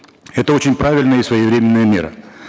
это очень правильная и своевременная мера